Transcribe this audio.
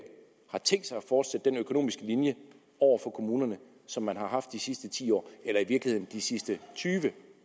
har tænkt sig at fortsætte den økonomiske linje over for kommunerne som man har haft de sidste ti år eller i virkeligheden de sidste tyve